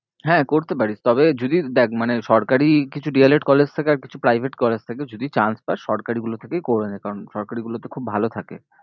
হ্যাঁ করতে পারিস তবে যদি দেখ মানে সরকারি কিছু D. el. ed college থাকে আর কিছু private college থাকে যদি chance পাশ সরকারিগুলো থেকেই করে নে কারণ সরকারিগুলোতে খুব ভালো থাকে।